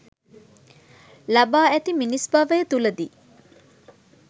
ලබා ඇති මිනිස් භවය තුළදී